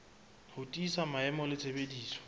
ho tiisa maemo le tshebediso